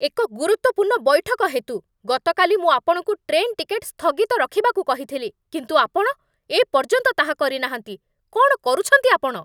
ଏକ ଗୁରୁତ୍ୱପୂର୍ଣ୍ଣ ବୈଠକ ହେତୁ, ଗତକାଲି ମୁଁ ଆପଣଙ୍କୁ ଟ୍ରେନ୍ ଟିକେଟ୍ ସ୍ଥଗିତ ରଖିବାକୁ କହିଥିଲି, କିନ୍ତୁ ଆପଣ ଏ ପର୍ଯ୍ୟନ୍ତ ତାହା କରିନାହାଁନ୍ତି, କ'ଣ କରୁଛନ୍ତି ଆପଣ?